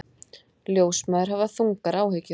Ljósmæður hafa þungar áhyggjur